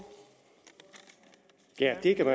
det er jo